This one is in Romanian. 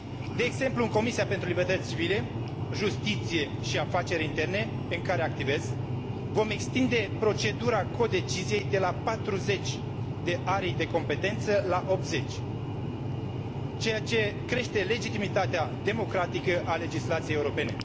De exemplu, în Comisia pentru libertăți civile, justiție și afaceri interne, în care activez, vom extinde procedura codeciziei de la 40 de arii de competență la 80, ceea ce crește legitimitatea democratică a legislației europene.